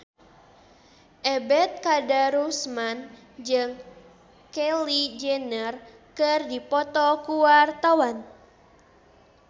Ebet Kadarusman jeung Kylie Jenner keur dipoto ku wartawan